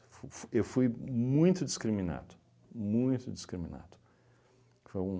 F f eu fui muito discriminado, muito discriminado. Foi